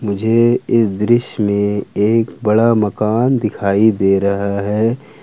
ये इस दृश्य में एक बड़ा मकान दिखाई दे रहा है।